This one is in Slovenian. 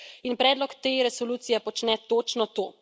In predlog te resolucije počne točno to.